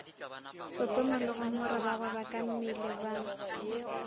sotoma le gomora bagwebakammele ba